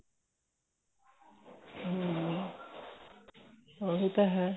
ਉਹੀ ਤਾਂ ਹੈ